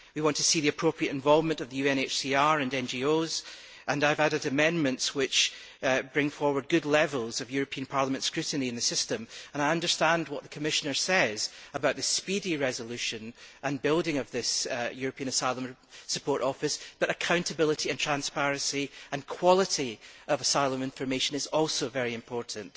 We want to see the appropriate involvement of the UNHCR and NGOs, and I have added amendments which bring forward good levels of European Parliament scrutiny in the system. I understand what the Commissioner says about the speedy resolution and building of the European Asylum Support Office, but accountability and transparency and quality of asylum information is also very important.